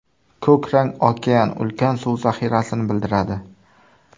Ko‘k rang okean, ulkan suv zaxirasini bildiradi.